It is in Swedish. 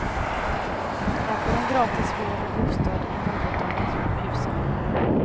Här får de gratis vård och bostad i något av de små husen.